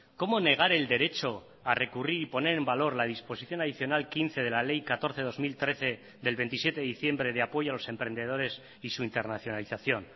cómo negar el derecho a recurrir y poner en valor la disposición adicional quince de la ley catorce barra dos mil trece del veintisiete de diciembre de apoyo a los emprendedores y su internacionalización